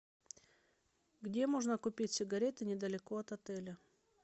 где можно купить сигареты недалеко от отеля